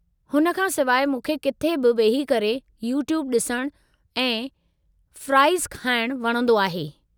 हुन खां सिवाइ मूंखे किथे बि वेही करे यूट्यूब ॾिसणु ऐं फ़्राईज़ खाइणु वणंदो आहे।